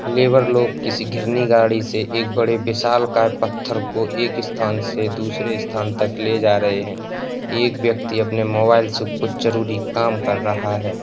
Labour लोग किसी घिरनी गाड़ी से एक बड़े विशालकाय पत्थर को एक स्थान से दूसरे स्थान तक ले जा रहे हैं। एक व्यक्ति आपने मोबाइल से कुछ जरूरी काम कर रहा है।